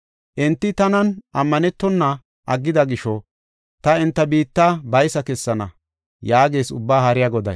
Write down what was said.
Enti tanan ammanetona aggida gisho ta enta biitta baysa kessana” yaagees Ubbaa Haariya Goday.